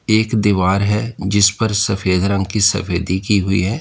एक दीवार है जिस पर सफेद रंग की सफेदी की हुई है।